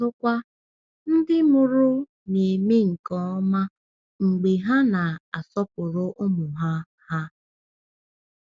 Ọzọkwa, ndị mụrụ na-eme nke ọma mgbe ha na-asọpụrụ ụmụ ha. ha.